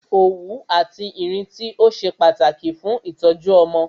Òwú àti Ìrintí ó ṣe kókó fún ìtọ́jú ọmọ